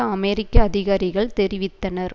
அமெரிக்க அதிகாரிகள் தெரிவித்தனர்